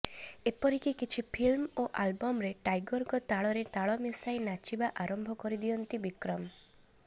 ଏପରିକି କିଛି ଫିଲ୍ମ ଓ ଆଲବମ୍ରେ ଟାଇଗରଙ୍କ ତାଳରେ ତାଳ ମିଶାଇ ନାଚିବା ଆରମ୍ଭ କରି ଦିଅନ୍ତି ବିକ୍ରମ